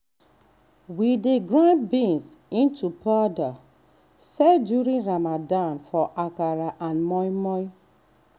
we dey grind beans into powder sell during ramadan for akara and moin-moin.